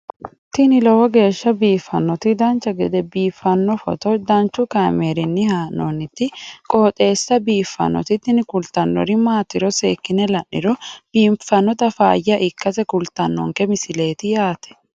tini lowo geeshsha biiffannoti dancha gede biiffanno footo danchu kaameerinni haa'noonniti qooxeessa biiffannoti tini kultannori maatiro seekkine la'niro biiffannota faayya ikkase kultannoke misileeti yaate